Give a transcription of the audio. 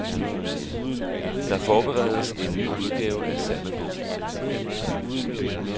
Der forberedes en ny udgave af salmebogen.